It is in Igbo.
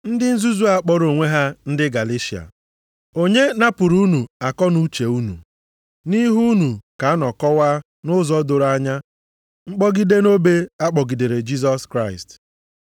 Ndị nzuzu a kpọrọ onwe ha ndị Galeshịa! Onye napụrụ unu akọnuche unu? Nʼihu unu ka a nọ kọwaa nʼụzọ doro anya mkpọgide nʼobe a kpọgidere Jisọs Kraịst.